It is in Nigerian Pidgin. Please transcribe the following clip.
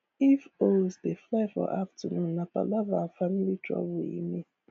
if owls dey fly for afternoon nah palava an family trouble e mean